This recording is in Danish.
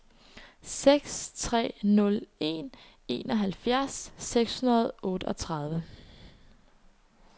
seks tre nul en enoghalvfjerds seks hundrede og otteogtredive